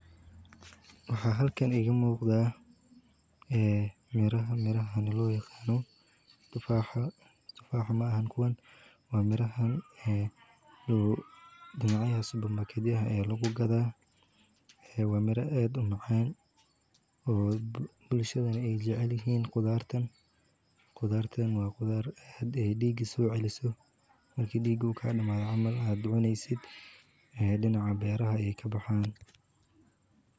Waxa halkaan iga muqda ah ee miraha-mirahan loo yaqaano. tufax ma ahayn kuwan waa mirahan ah ee dhinaceys supermarket ah lagu gadaa, ee waamira, adoo macaan u bulshadani ay jecelisaheen qudaartan. qudaartan waa qudaar aad ah dhiigi soo celiso markii dhiiguu ka hadhamaa camaal, aad u dooneysood ah dhanca beeraha ay ka baxeen.